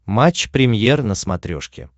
матч премьер на смотрешке